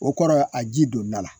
O kɔrɔ a ji don n dala.